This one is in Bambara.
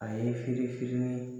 A ye firi firinin